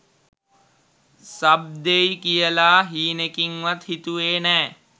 sub දෙයි කියලා හීනෙකින්වත් හිතුවේ නෑ